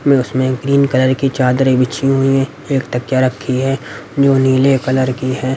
में उसमें एक ग्रीन कलर की चादरें बिछी हुई हैं एक तकिया रखी है जो नीले कलर की है।